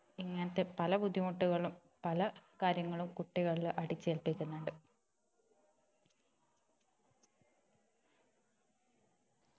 ഇങ്ങനത്തെ പല ബുദ്ധിമുട്ടുകളും പലകാര്യങ്ങളും കുട്ടികളില് അടിചേൽപ്പിക്കുന്നുണ്ട്